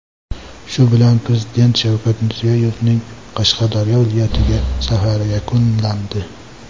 Shu bilan Prezident Shavkat Mirziyoyevning Qashqadaryo viloyatiga safari yakunlandi.